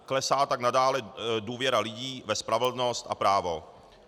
Klesá tak nadále důvěra lidí ve spravedlnost a právo.